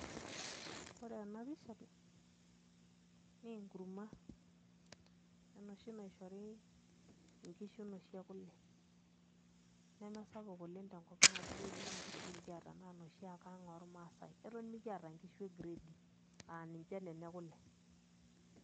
Ore ena pisha naa enkurma enoshi naishori nkishu inoshi ekule nemesapuk oleng' tenkop ang' amu ore iyiook nkishu nikiata naa inoshi ake ang' ormaasai eton mikiata nkishu e gredi aa ninche nena ekule.